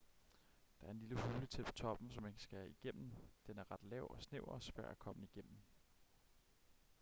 der er en lille hule tæt på toppen som man skal igennem den er ret lav og snæver og svær at komme igennem